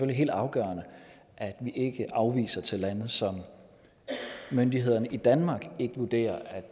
helt afgørende at vi ikke afviser til lande som myndighederne i danmark ikke vurderer er